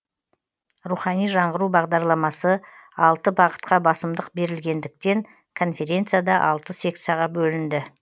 рухани жаңғыру бағдарламасы алты бағытқа басымдық берілгендіктен конференция да алты секцияға бөлінді